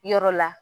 Yɔrɔ la